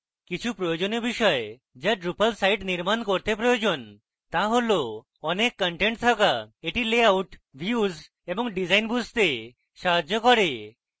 কিছু প্রয়োজনীয় বিষয় যা drupal site নির্মাণ করতে প্রয়োজন তা হল one content থাকা এটি লেআউট views এবং ডিজাইন বুঝতে সাহায্য করবে